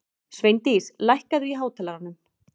Sveindís, lækkaðu í hátalaranum.